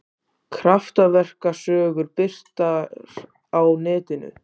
Kraftaverkasögur birtar á netinu